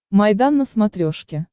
майдан на смотрешке